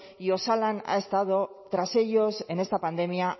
y osalan ha estado tras ellos en esta pandemia